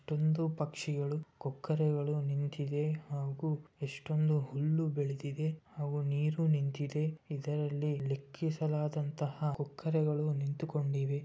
ಪ್ರತಿಯೊಂದು ಪಕ್ಷಿಗಳು ಕೊಕ್ಕರೆಗಳು ನಿಂತಿವೆ ಹಾಗೂ ಎಷ್ಟೊಂದು ಹುಲ್ಲು ಬೆಳೆದಿದೆ ಹಾಗೂ ನೀರು ನಿಂತಿದೆ ಇದರಲ್ಲಿ ಲೆಕ್ಕಿಸಲಾದಂತಹ ಕೊಕ್ಕರೆಗಳು ನಿಂತುಕೊಂಡಿವೆ .